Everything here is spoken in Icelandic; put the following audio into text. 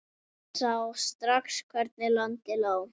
Sá strax hvernig landið lá.